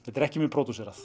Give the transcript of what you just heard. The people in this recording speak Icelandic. þetta er ekki mjög